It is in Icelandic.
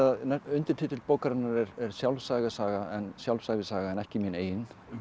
undirtitill bókarinnar er sjálfsævisaga en sjálfsævisaga en ekki mín eigin